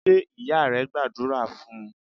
Ṣé ìyá rẹ gbàdúrà fún un?